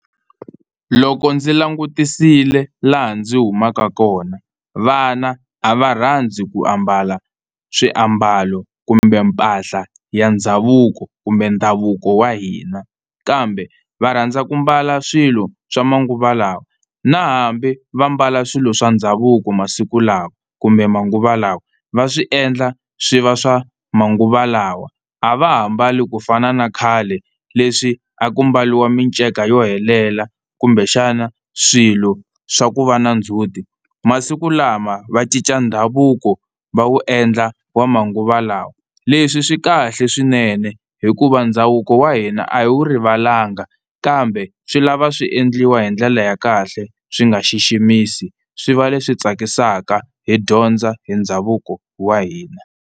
Loko ndzi langutisile laha ndzi humaka kona vana a va rhandzi ku ambala swiambalo kumbe mpahla ya ndhavuko kumbe ndhavuko wa hina, kambe va rhandza ku mbala swilo swa manguva lawa na hambi va mbala swilo swa ndhavuko masiku lawa kumbe manguva lawa va swi endla swi va swa manguva lawa a va ha mbali kufana na khale, leswi a ku mbariwa miceka yo helela kumbexana swilo swa ku va na ndzhuti. Masikulama va cinca ndhavuko va wu endla wa manguva lawa, leswi swi kahle swinene hikuva ndhavuko wa hina a hi wu rivalanga kambe swi lava swi endliwa hi ndlela ya kahle swi nga xiximisi swi va leswi tsakisaka hi dyondza hi ndhavuko wa hina.